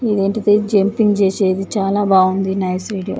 ఇదెంటిధి jumping చేసేది చాలా బాగుంది నైస్ వీడియో .